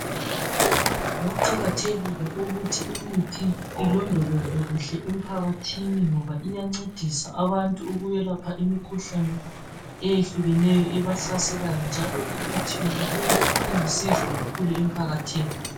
kuqakathekile ukuthi imithi ilondolozwe kuhle emphakathini ngoba iyancedisa abantu ukuyelapha imikhuhlane eyehlukeneyoebahlaselayo njalo imithi yonaleyi ilusizo kakhulu emphakathini